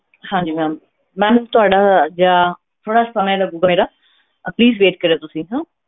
ਹਾਂਜੀ ma'am ma'am ਥੋੜ੍ਹਾ ਜਿਹਾ ਥੋੜ੍ਹਾ ਜਿਹਾ ਸਮਾਂ ਲੱਗੇਗਾ ਅਹ please wait ਕਰਿਓ ਤੁਸੀਂ ਹਾਂ।